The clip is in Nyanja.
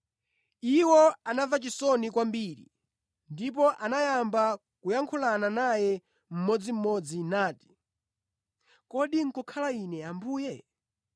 Iwo anamva chisoni kwambiri ndipo anayamba kuyankhulana naye mmodzimmodzi nati, “Kodi nʼkukhala ine Ambuye?”